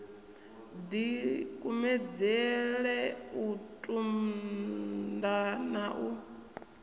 dikumedzele u tunda na u